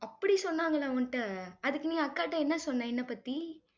அப்படி சொன்னாங்களா உன்கிட்ட? அதுக்கு நீ அக்காட்ட என்ன சொன்ன என்ன பத்தி?